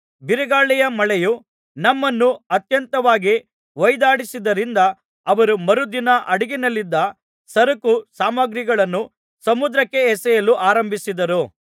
ಬಿರುಗಾಳಿಯ ಮಳೆಯೂ ನಮ್ಮನ್ನು ಅತ್ಯಂತವಾಗಿ ಹೊಯಿದಾಡಿಸಿದ್ದರಿಂದ ಅವರು ಮರುದಿನ ಹಡಗಿನಲ್ಲಿದ್ದ ಸರಕು ಸಾಮಗ್ರಿಗಳನ್ನು ಸಮುದ್ರಕ್ಕೆ ಎಸೆಯಲು ಆರಂಭಿಸಿದರು